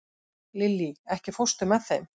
Lilly, ekki fórstu með þeim?